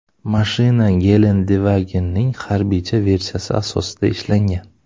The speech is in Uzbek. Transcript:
Mashina Gelendewagen’ning harbiycha versiyasi asosida ishlangan.